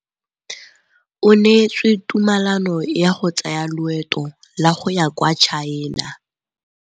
O neetswe tumalanô ya go tsaya loetô la go ya kwa China.